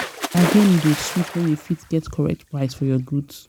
bargaining dey sweet wen you fit get correct price for your goods.